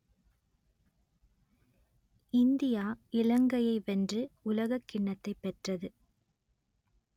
India இலங்கையை வென்று உலகக்கிண்ணத்தைப் பெற்றது